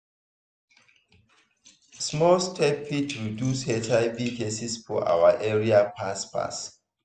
small steps fit reduce hiv cases for our area fast fast.